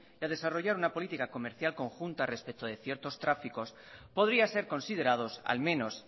y a desarrollar una política comercial conjunta respecto de ciertos tráficos podrían ser considerados al menos